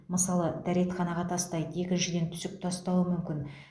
мысалы дәретханаға тастайды екіншіден түсік тастауы мүмкін